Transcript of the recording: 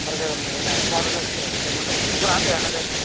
gorot jadon nahi na somadonnoi schoolot jiyenoidw school goran dega nw jaidey.